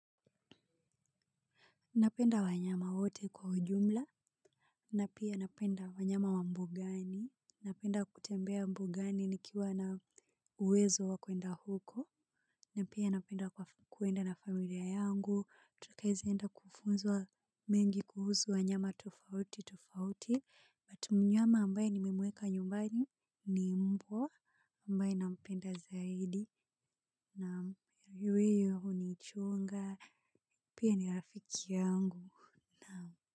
Napenda wanyama wote kwa ujumla, na pia napenda wanyama wa mbugani, napenda kutembea mbugani nikiwa nao uwezo wa kuenda huko, na pia napenda kuenda na familia yangu, tukaeza enda kufunzwa mengi kuhusu wanyama tofauti tofauti, but mnyama ambaye nimemweka nyumbani ni mbwa, ambaye nampenda zaidi, na huwa hunichunga, pia ni rafiki yangu. Naam.